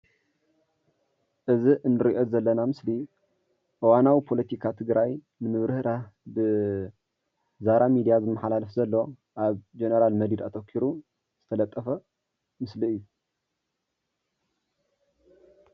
እዚ እንሪኦ ምስሊ እዋናዊ ፖለቲካዊ ትግራይ ንምብርህራህ ብዛራ ሚድያ ዝመሓላለፍ ዘሎ ኣብ ጀነራል መዲድ ኣተኪሩ ዝተለጠፈ ምስሊ እዩ።